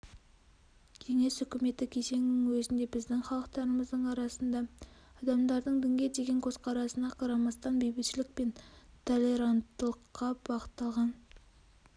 кеңес үкіметі кезеңінің өзінде біздің халықтарымыздың арасында адамдардың дінге деген көзқарасына қарамастан бейбітшілік пен толеранттылыққа бағытталған